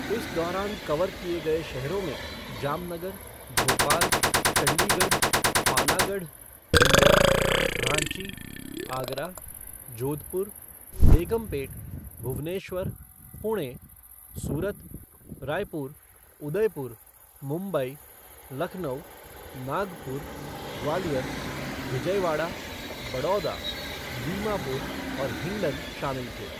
इस दौरान कवर किए गए शहरों में जामनगर, भोपाल, चंडीगढ़, पानागढ़, इंदौर, रांची, आगरा, जोधपुर, बेगमपेट, भुवनेश्वर, पुणे, सूरत, रायपुर, उदयपुर, मुंबई, लखनऊ, नागपुर, ग्वालियर, विजयवाड़ा, बड़ौदा, दीमापुर और हिंडन शामिल थे।